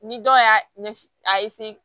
Ni dɔw y'a ɲɛ a